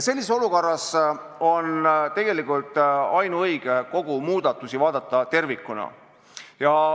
Sellises olukorras on ainuõige vaadata kõiki muudatusi tervikuna.